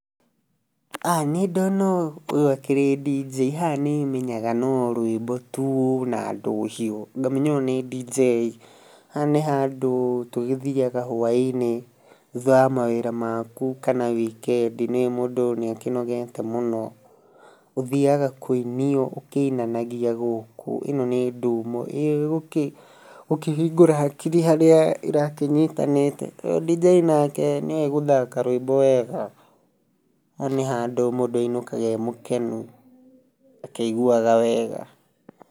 Niĩ ndona ũũ, ũyũ akĩrĩ dj, haha nĩmenyaga no rũimbo tuu na ndũhio, ngamenya ũyũ nĩ dj. Haha nĩ handũ tũgĩthiaga hwainĩ, thutha wa mawĩra maku kana wikendi, nĩ ũĩ mũndũ nĩakĩnogete mũno, ũthiaga kũinio ũkĩinanagia gũkũ, ĩno nĩ ndumo, ĩ ũkĩhingũre hakiri harĩa irakĩnyitanĩte, dj nake nĩ ũĩ gũthaka rũĩmbo wega. Haha nĩ handũ mũndũ ainũkaga e mũkenu, akĩiguaga wega.